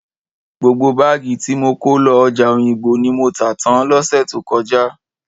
Gbogbo báàgì tí mo kó lọ ọjà Òyìngbò ni mo tà tán lọ́sẹ̀ tó kọjá.